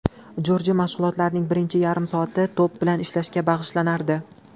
Jorji mashg‘ulotlarining birinchi yarim soati to‘p bilan ishlashga bag‘ishlanardi.